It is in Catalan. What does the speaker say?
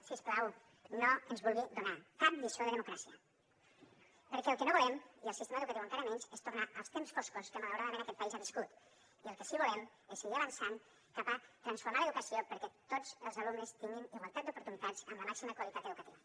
si us plau no ens vulgui donar cap lliçó de democràcia perquè el que no volem i el sistema educatiu encara menys és tornar als temps foscos que malauradament aquest país ha viscut i el que sí que volem és seguir avançant cap a transformar l’educació perquè tots els alumnes tinguin igualtat d’oportunitats amb la màxima qualitat educativa